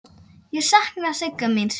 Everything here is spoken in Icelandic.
Ég sakna Sigga míns.